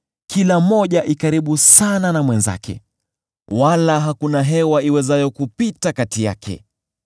kila moja iko karibu sana na mwenzake, wala hakuna hewa iwezayo kupita kati yake.